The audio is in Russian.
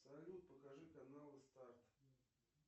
салют покажи каналы старт